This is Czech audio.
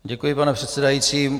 Děkuji, pane předsedající.